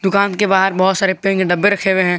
दुकान के बाहर बहोत सारे पेंट के डब्बे रखे हुए हैं।